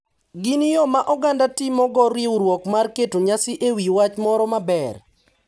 Gin yo ma oganda timo go riwruok mar keto nyasi e wi wach moro maber.